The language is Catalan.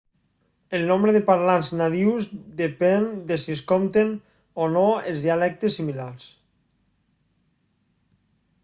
el nombre de parlants nadius depèn de si es compten o no els dialectes similars